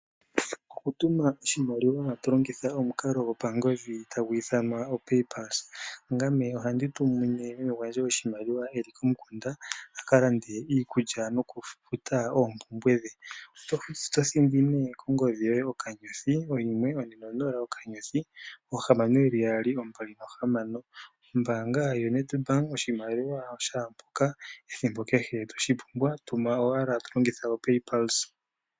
Okutuma oshimaliwa to longitha omukalo gopangodhi tagu ithanwa "Paypalse". Ngame ohandi tumine meme gwandje oshimaliwa e li komukunda a ka lande iikulya nokufuta oompumbwe dhe. Oto thindi nduno kongodhi yoye *140*6626#. Ombaanga yoNedbank oshimaliwa shaa mpoka ethimbo kehe toshi pumbwa. Tuma owala to longitha "oPaypulse".